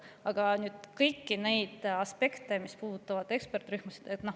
Aga kõiki neid aspekte, mis puudutavad ekspertrühmasid …